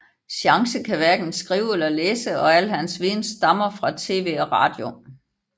Chance kan hverken skrive eller læse og alt hans viden stammer fra TV og Radio